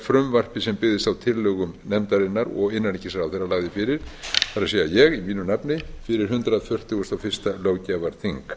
frumvarpi sem byggðist á tillögum nefndarinnar og innanríkisráðherra lagði fyrir það er ég í mínu nafni fyrir hundrað fertugasta og fyrsta löggjafarþing